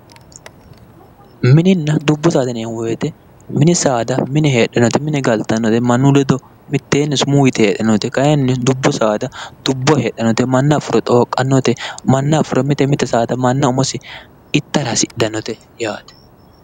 Minina dubbu saada yinayi woyite min saada mine galitanote mannu ledo miteeni heedhanote dubbu saada dubboho heedhanote manna afuro xooqanote mite mite saada manna